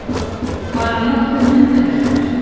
Bara nokkuð myndarlegur.